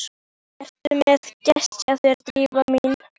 Ertu með gest hjá þér, Drífa mín?